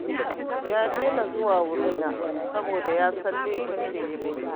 Ya daina zuwa wurina saboda ya san laifin da ya yi mini